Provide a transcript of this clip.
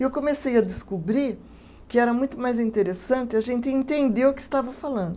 E eu comecei a descobrir que era muito mais interessante a gente entender o que estava falando.